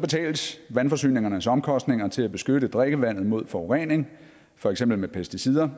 betales vandforsyningernes omkostninger til at beskytte drikkevandet mod forurening for eksempel med pesticider